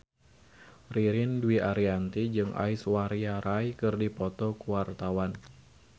Ririn Dwi Ariyanti jeung Aishwarya Rai keur dipoto ku wartawan